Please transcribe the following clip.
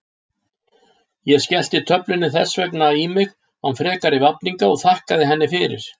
Ég skellti töflunni þess vegna í mig án frekari vafninga og þakkaði henni fyrir.